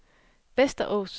Västerås